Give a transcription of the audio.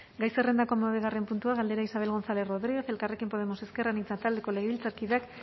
gai zerrendako hamabigarren puntua galdera isabel gonzález rodríguez elkarrekin podemos ezker anitza taldeko legebiltzarkideak